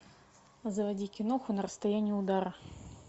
заводи киноху на расстоянии удара